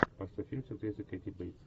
поставь фильм с актрисой кэти бэйтс